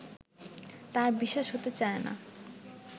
তাঁর বিশ্বাস হতে চায় না